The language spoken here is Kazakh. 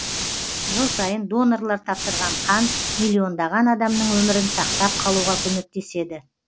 жыл сайын донорлар тапсырған қан миллиондаған адамның өмірін сақтап қалуға көмектеседі